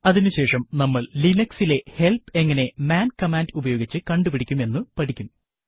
അതിനുശേഷം നമ്മൾ Linuxലെ ഹെല്പ് എങ്ങനെ മാൻ കമാൻഡ് ഉപയോഗിച്ച് കണ്ടുപിടിക്കും എന്ന് പഠിക്കും